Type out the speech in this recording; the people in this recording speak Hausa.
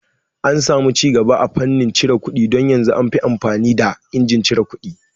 An samu cigaba a fannin cire kuɗi don yanzun anfi amfani da injin cire kuɗi